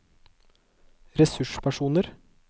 ressurspersoner